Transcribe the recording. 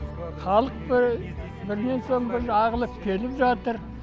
халық бірінен соң бірі ағылып келіп жатыр